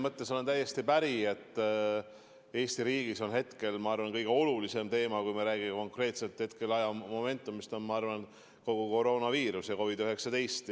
Ma olen täiesti päri, et Eesti riigis on hetkel, ma arvan, kõige olulisem teema, kui me räägime konkreetsest ajamomendist, kogu koroonaviiruse ja COVID-19-ga seotu.